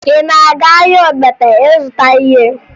Ị na-aga ahịa Ogbete ịzụta ihe?